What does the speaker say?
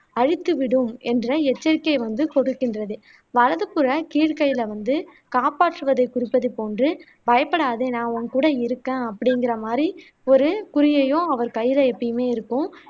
அழித்துவிடும் என்ற எச்சரிக்கை வந்து கொடுக்கின்றது வலதுப்புற கீழ் கையில வந்து காப்பாற்றுவதை குறிப்பதை போன்று பயப்படாதே நான் உங்கூட இருகேன் அப்படிங்குற மாதிரி ஒரு குறியையும் அவரு கையில எப்பயுமே இருக்கும்